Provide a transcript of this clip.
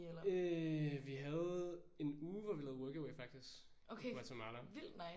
Øh vi havde en uge hvor vi lavede workaway faktisk i Guatemala